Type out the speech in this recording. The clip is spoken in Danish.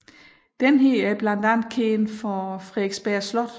Denne er blandt andet kendt for Frederiksberg Slot